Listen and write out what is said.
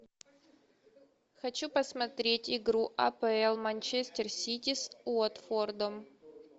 хочу посмотреть игру апл манчестер сити с уотфордом